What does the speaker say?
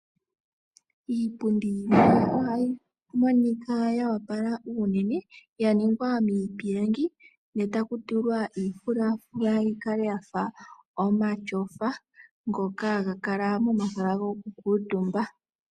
Iipundi ohayi monika ya opala unene yaningwa miipilangi etaku tulwa efulafula yikale yafa omatyafa ngoka haga kala momahala gokukuutuumba.